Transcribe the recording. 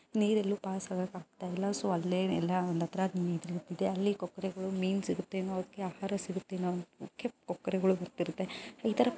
ನೀರೆಲ್ಲು pass ಆಗಾಕ್ ಆಗ್ತಿಲ್ಲ so ಅಲ್ಲೇ ಎಲ್ಲಾ ಒಂದು ಹತ್ರ ನೀರ್ ನಿಂತಿದೆ ಅಲ್ಲಿ ಕೊಕ್ಕರೆಗಳು ಮೀನ್ ಸಿಗುತ್ತೆನೋ ಅದಕ್ಕೆ ಆಹಾರ ಸಿಗುತ್ತೇನೋ ಅದಕ್ಕೆ ಕೊಕ್ಕರೆಗಳು ಬರ್ತಿರುತ್ತೆ ಈತರ --